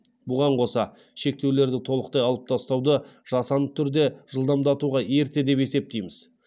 бұған қоса шектеулерді толықтай алып тастауды жасанды түрде жылдамдатуға ерте деп есептейміз